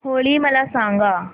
होळी मला सांगा